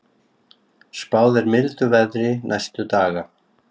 Spáð er mildu veðri næstu daga